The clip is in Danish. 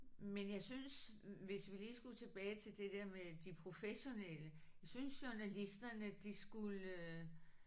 Men jeg synes hvis vi lige skulle tilbage til det der med de professionelle jeg synes journalisterne de skulle